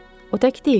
O tək deyildi.